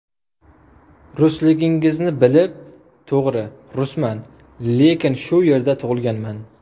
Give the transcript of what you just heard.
Rusligingizni bilib... To‘g‘ri, rusman, lekin shu yerda tug‘ilganman.